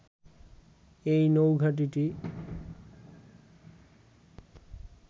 এই নৌঘাঁটিটি